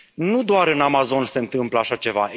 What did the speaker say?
Nu doar în Amazon se întâmplă așa ceva.